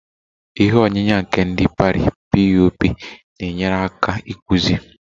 Ihe onyinya nke ndi Pari (POP) na-enyere aka ịkpụzi